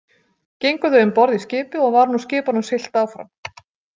Gengu þau um borð í skipið og var nú skipunum siglt áfram.